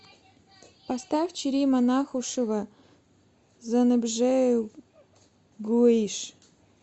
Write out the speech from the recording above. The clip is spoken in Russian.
поставь черима нахушева зэныбжьэгъуищ